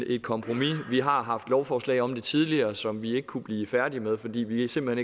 et kompromis vi har haft lovforslag om det tidligere som vi ikke kunne blive færdige med fordi vi simpelt